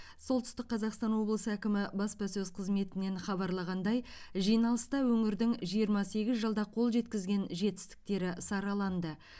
солтүстік қазақстан облысы әкімі баспасөз қызметінен хабарлағандай жиналыста өңірдің жиырма сегіз жылда қол жеткізген жетістіктері сараланды